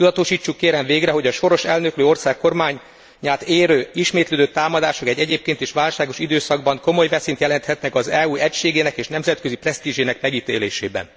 Tudatosítsuk végre, kérem, hogy a sors elnöklő ország kormányát érő ismétlődő támadások egy egyébként is válságos időszakban komoly veszélyt jelenthetnek az EU egységének és nemzetközi presztízsének megítélésében.